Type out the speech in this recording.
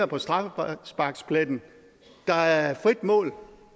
på straffesparkspletten der er frit mål